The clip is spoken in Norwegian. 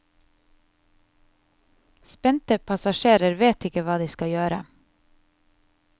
Spente passasjerer vet ikke hva de skal gjøre.